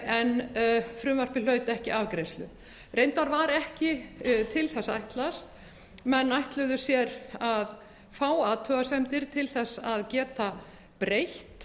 en frumvarpið hlaut ekki afgreiðslu reyndar var ekki til þess ætlast menn ætluðu sér að fá athugasemdir til þess að geta breytt